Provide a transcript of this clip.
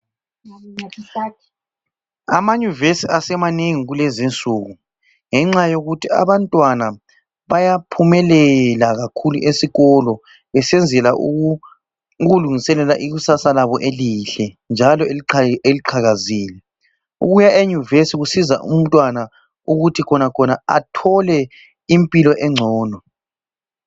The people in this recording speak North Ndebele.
Amanyuvesi asemanengi kulezinsuku ngenxa yokuthi abantwana bayaphumelela kakhulu esikolo besenzela ukulungiselela ikusasa labo elihle njalo eliqhakazile. Ukuya enyuvesi kusiza umntwana ukuthi khonakhona athole impilo engcono.